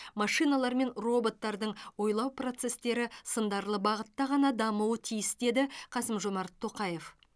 машиналар мен роботтардың ойлау процестері сындарлы бағытта ғана дамуы тиіс деді қасым жомарт тоқаев